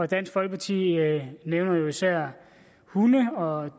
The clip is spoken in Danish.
dansk folkeparti nævner især hunde og